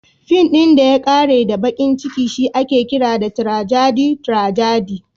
Fin ɗin da ya ƙare da baƙin ciki shi ake kira tirajadi (tragedy).